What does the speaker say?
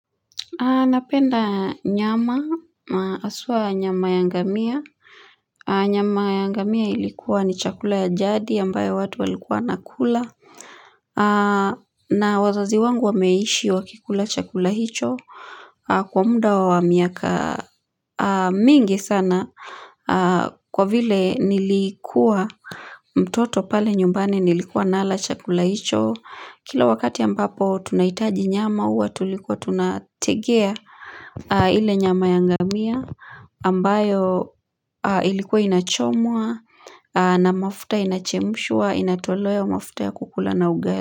Napenda nyama, haswaa nyama ya ngamia. Nyama ya ngamia ilikuwa ni chakula ya jadi ambayo watu walikuwa wanakula. Na wazazi wangu wameishi wakikula chakula hicho. Kwa muda wa miaka mingi sana. Kwa vile nilikuwa mtoto pale nyumbani nilikuwa nala chakula hicho. Kila wakati ambapo tunahitaji nyama huwa tulikuwa tunategea ile nyama ya ngamia ambayo ilikuwa inachomwa na mafuta inachemshwa inatolewa mafuta ya kukula na ugali.